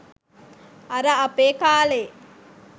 අර අපේ කාලේ